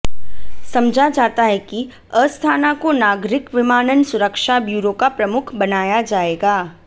समझा जाता है कि अस्थाना को नागरिक विमानन सुरक्षा ब्यूरो का प्रमुख बनाया जाएगा